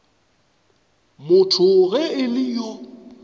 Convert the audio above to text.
motho ge e le yo